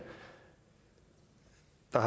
der